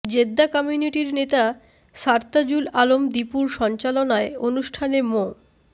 Jeddah কমিউনিটির নেতা সারতাজুল আলম দিপুর সঞ্চালনায় অনুষ্ঠানে মো